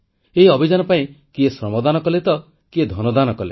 ଏହି ଅଭିଯାନ ପାଇଁ କିଏ ଶ୍ରମଦାନ କଲେ ତ କିଏ ଧନ ଦାନ କଲେ